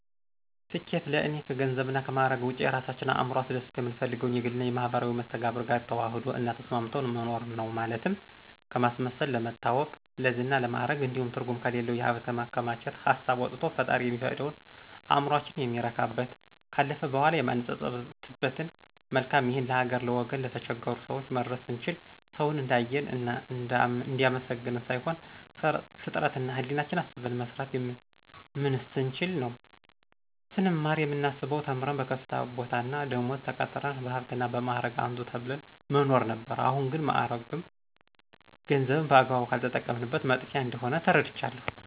ስኬት ለእኔ ከገንዘብና ከማዕረግ ውጭ የራሳችን እዕምሮ አስደስቶ የምንፈልገውን የግልና የማህበራዊ መስተጋብር ጋር ተዋህዶ እና ተስማምቶ መኖር ነው። ማለትም ከማስመሰል፣ ለመታወቅ፣ ለዝና፣ ለማዕረግ እንዲሁም ትርጉም ከሌለው የሀብት ማከማቸት ሀሳብ ወቶ ፈጣሪ የሚፈቅደውን፣ እዕምሮአችን የሚረካበትን፣ ካለፈ በኋላ የማንጸጸትበትን መልካም ይህን ለሀገር፣ ለወገን፣ ለተቸገሩ ሰወች መድረስ ስንችል፣ ሰውን እንዲአየን እና እንዲአመሰግነን ሳይሆን ፍጥረት እና ህሌናችን አስበን መስራትና ምንስ ስንችል ነው። ስንማር የምናስበው ተምረን በከፍተኛ ቦታና ደመወዝ ተቀጥረን በሀብትና እና በማዕረግ አንቱ ተብለን መኖር ነበር አሁን ግን ማዕረግም ገንዘብም በአግባቡ ካልተጠቀምንበት መጥፊያ እንደሆነ ተረድቻለሁ።